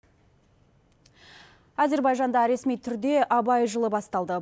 әзірбайжанда ресми түрде абай жылы басталды